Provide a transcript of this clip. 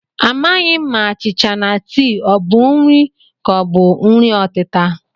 Amaghị m ma achịcha na tii ọ bụ nri ka ọ bụ nri ọtịta